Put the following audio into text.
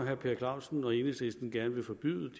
herre per clausen og enhedslisten gerne vil forbyde